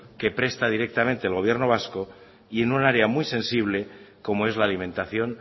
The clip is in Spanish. que presta directamente el gobierno vasco y en un área muy sensible como es la alimentación